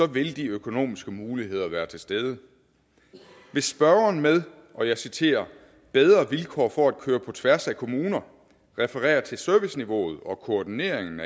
vil de økonomiske muligheder være til stede hvis spørgeren med og jeg citerer bedre vilkår for at køre på tværs af kommuner refererer til serviceniveauet og koordineringen